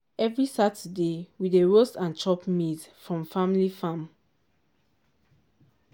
every saturday we dey roast and chop maize from family farm.